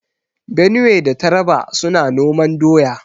Benue da Taraba suna noman doya.